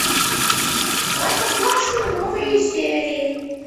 простоквашино новые серии